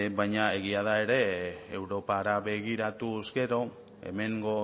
baina egia da ere europara begiratuz gero hemengo